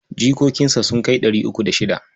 Jikokinsa sun kai ɗari uku da shida.